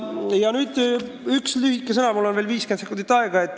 Nüüd veel paar sõna, mul on 50 sekundit aega.